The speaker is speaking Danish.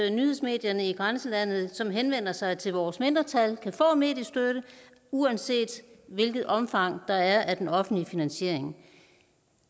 at nyhedsmedierne i grænselandet som henvender sig til vores mindretal kan få mediestøtte uanset hvilket omfang der er af den offentlige finansiering